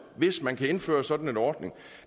hvis man kan indføre sådan en ordning